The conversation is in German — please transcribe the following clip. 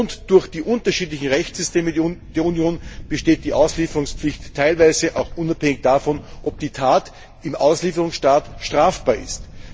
Aufgrund der unterschiedlichsten Rechtssysteme in der Union besteht die Auslieferungspflicht teilweise auch unabhängig davon, ob die Tat im Auslieferungsstaat strafbar ist.